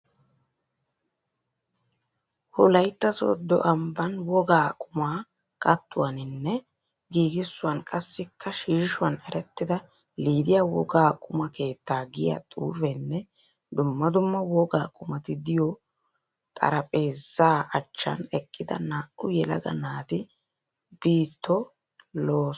Wolaitta soodo ambban wogaa qumaa kattuwaninne giigisuwan qassikka shiishshuwan erettida Lidiya wogaa quma keettaa giya xuufeenne dumma dumma wogaa qumati diyo xaraphpheezza achchaan eqqida naa'u yelaga nati biittoo lo'oosonna!